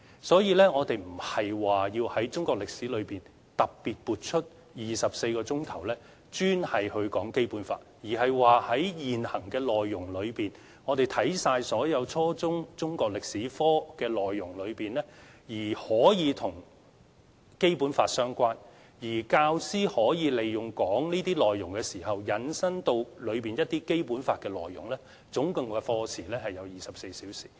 所以，我們並不是要從中國歷史科中，特別撥出24課時討論《基本法》，而是看過現時的內容、看過所有初中中國歷史科的內容之後，如果跟《基本法》相關，教師可以在教授這些內容時，引申到《基本法》當中的一些內容，而課時共24小時。